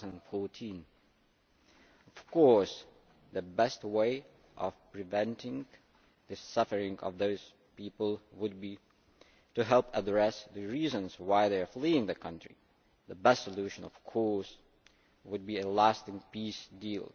2014. The best way of preventing the suffering of those people would be to help address the reasons why they are fleeing the country. The best solution, of course, would be a lasting peace deal.